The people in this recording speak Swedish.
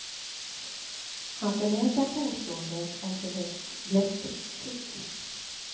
Han förnekar påståendet om för högt blästringstryck.